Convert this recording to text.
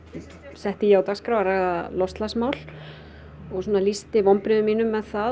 setti ég á dagskrá að ræða loftslagsmál og lýsti vonbrigðum mínum með það